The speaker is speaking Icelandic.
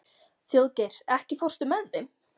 Þjóðgeir, ekki fórstu með þeim?